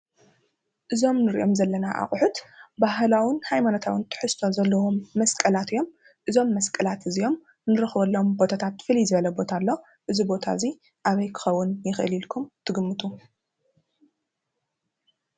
እዞም እንሪኦም ዘለና ኣቑሑት ባህላውን ሃይመናታዊን ትሕዝቶ ዘለዎም መስቀላት እዮም። እዞም መስቀላት እንረኽበሎም ፍሉይ ዝበለ ቦታ ኣሎ። እዚ ቦታ እዙይ ኣበይ ክኮን ይኽእል ኢልኩም ትግምቱ?